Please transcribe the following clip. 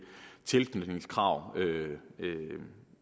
tilknytningskrav